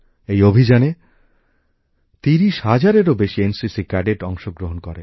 এই অভিযানে ৩০ হাজারেরও বেশি এনসিসি ক্যাডেট অংশগ্রহণ করে